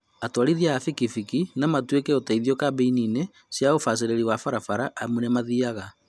Atwarithia a bikibiki nomatuĩke ũteithio kambĩini inĩ cia ũbacĩrĩri wa barabara amu nĩmathiaga